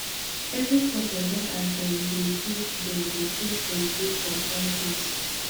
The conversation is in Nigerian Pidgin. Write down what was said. every culture get as dem dey take dem dey take celebrate some kind things